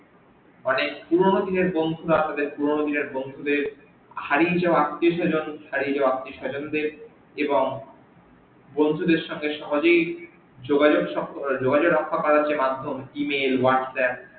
অনেক পুরনো দিনের বন্ধুরা তাদের পুরনো দিনের বন্ধু দের হারিয়ে যাওয়া আত্মীয়স্বজন ও হারিয়ে যাওয়া আত্মীয়স্বজন দের এবং বন্ধু দের সঙ্গে সহজেই যোগাযোগ রক্ষা করার যে মাধ্যম email whatsapp